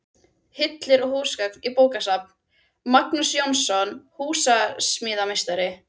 Hillur og húsgögn í bókasafn: Magnús Jónsson, húsasmíðameistari.